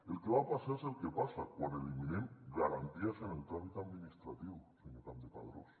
el que va passar és el que passa quan eliminem garanties en el tràmit administratiu senyor campdepadrós